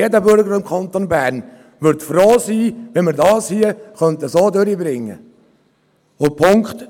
Denn jeder Bürger im Kanton Bern wird froh sein, wenn wir dies so durchbringen können.